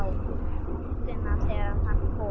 Um nóttina þegar hann kom.